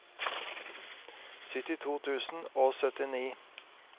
syttito tusen og syttini